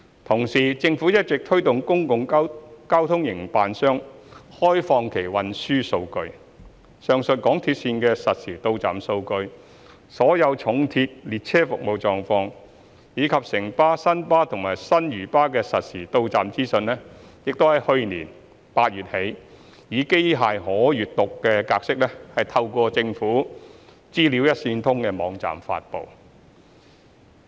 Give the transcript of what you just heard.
同時，政府一直推動公共交通營辦商開放其運輸數據，上述港鐵線的實時到站數據、所有重鐵列車服務狀況，以及城巴、新巴和新嶼巴的實時到站資訊已於去年8月起，以機器可閱讀格式透過政府"資料一線通"網站發布。